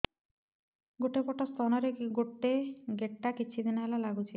ଗୋଟେ ପଟ ସ୍ତନ ରେ ଗୋଟେ ଗେଟା କିଛି ଦିନ ହେଲା ଲାଗୁଛି